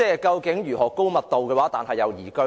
究竟如何高密度又宜居呢？